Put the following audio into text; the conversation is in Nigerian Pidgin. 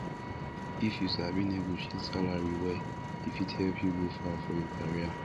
if you sabi negotiate salary well e fit help you go far for your career